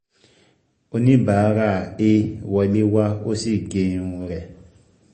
Oníbàárà A wọlé wá o sì gé irun rẹ̀